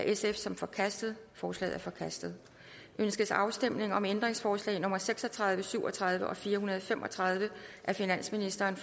sf som forkastet forslaget er forkastet ønskes afstemning om ændringsforslag nummer seks og tredive syv og tredive og fire hundrede og fem og tredive af finansministeren